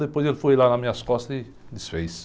Depois ele foi lá nas minhas costas e desfez.